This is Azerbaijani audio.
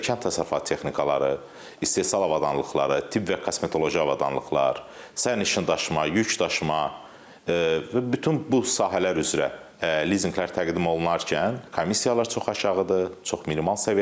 Kənd təsərrüfatı texnikaları, istehsal avadanlıqları, tibb və kosmetoloji avadanlıqlar, sərnişin daşıma, yük daşıma və bütün bu sahələr üzrə lizinqlər təqdim olunarkən komissiyalar çox aşağıdır, çox minimal səviyyədədir.